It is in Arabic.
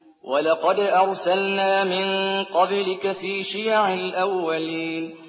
وَلَقَدْ أَرْسَلْنَا مِن قَبْلِكَ فِي شِيَعِ الْأَوَّلِينَ